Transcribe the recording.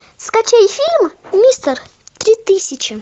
скачай фильм мистер три тысячи